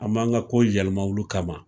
An m'an ka ko yɛlɛma olu kama.